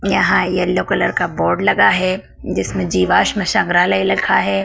यहाँ yellow colour का board लगा है जिसमें जीवाश्म संग्रहालय लिखा है।